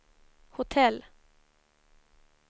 hotell